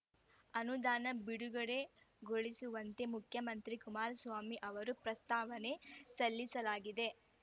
ಅನುದಾನ ಬಿಡುಗಡೆಗೊಳಿಸುವಂತೆ ಮುಖ್ಯಮಂತ್ರಿ ಕುಮಾರಸ್ವಾಮಿ ಅವರಿಗೆ ಪ್ರಸ್ತಾವನೆ ಸಲ್ಲಿಸಲಾಗಿದೆ